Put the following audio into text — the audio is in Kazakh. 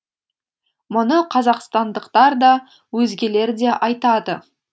мұны қазақстандықтар да өзгелер де айтады